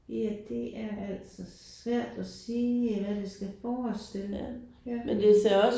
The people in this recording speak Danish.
Ja det er altså svært at sige hvad det skal forestille ja